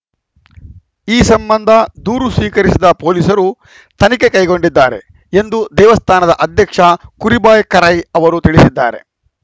ಈ ಸಂಬಂಧ ದೂರು ಸ್ವೀಕರಿಸಿದ ಪೊಲೀಸರು ತನಿಖೆ ಕೈಗೊಂಡಿದ್ದಾರೆ ಎಂದು ದೇವಸ್ಥಾನದ ಅಧ್ಯಕ್ಷ ಕುರಿಭಾಯ್‌ ಕೆರೈ ಅವರು ತಿಳಿಸಿದ್ದಾರೆ